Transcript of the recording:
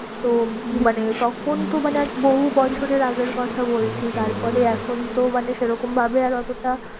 তো মানে তখন তো মানে আজ বহু বছরের আগের কথা বলছি তারপরে এখন তো মানে সে রকম ভাবে আর অতটা